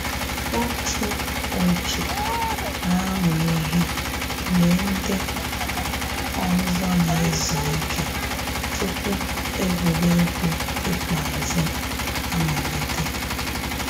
Otu òtù na-amụ ihe mgbe ndị ọzọ na-ezu ike tupu egwuregwu ikpeazụ amalite